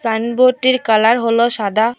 সাইনবোর্ডটির colour হলো সাদা।